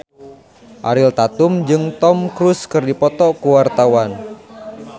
Ariel Tatum jeung Tom Cruise keur dipoto ku wartawan